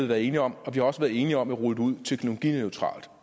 været enige om og vi har også været enige om at rulle det ud teknologineutralt